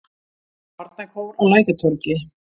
Barnakór á Lækjartorgi.